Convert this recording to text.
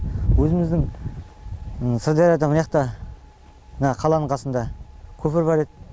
өзіміздің сырдарияда мыняқта мына қаланың қасында көпір бар еді